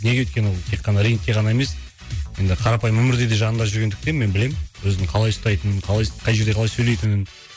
неге өйткені ол тек қана рингте ғана емес енді қарапайым өмірде де жанында жүргендіктен мен білемін өзін қалай ұстайтынын қалай қай жерде қалай сөйлейтінін